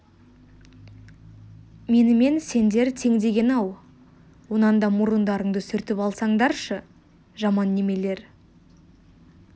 менімен сендер тең деген-ау онан да мұрындарыңды сүртіп алсаңдаршы жаман немелер